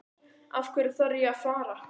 Af hverju þarf ég að fara?